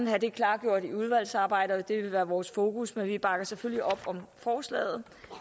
have det klargjort i udvalgsarbejdet og det vil være vores fokus men vi bakker selvfølgelig op om forslaget